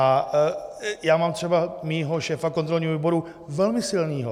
A já mám třeba svého šéfa kontrolního výboru velmi silného.